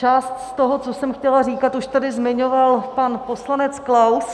Část z toho, co jsem chtěla říkat, už tady zmiňoval pan poslanec Klaus.